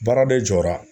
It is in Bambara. Baara de jɔra